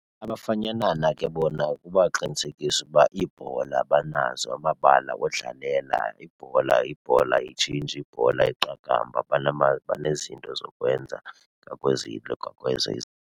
Abafanyanana ke bona kubaqinisekisa uba iibhola banazo, amabala odlalela. Ibhola yibhola ayitshintshi, ibhola yeqakamba. Banezinto zokwenza ngokwezi nto .